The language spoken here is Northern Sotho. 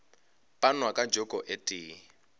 panwa ka joko e tee